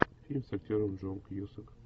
фильм с актером джон кьюсак